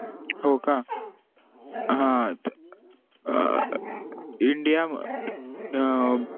हो का हा अह india अह